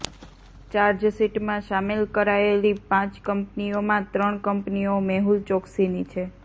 ચાર્જશીટમાં સામેલ કરાયેલી પાંચ કંપનીઓમાં ત્રણ કંપનીઓ મેહુલ ચોકસીની છે